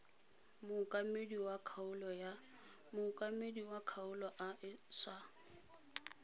mookamedi wa kgaolo a sa